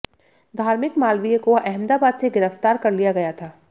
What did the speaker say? धार्मिक मालवीय को अहमदाबाद से गिरफ्तार कर लिया गया था